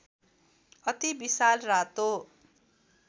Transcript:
अति विशाल रातो